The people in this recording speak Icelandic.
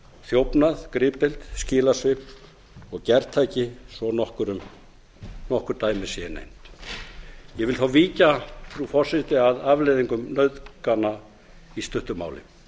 þjófnað gripdeild skilasvik og gertæki svo nokkur dæmi séu nefnd ég vil þá víkja frú forseti að afleiðingum nauðgana í stuttu máli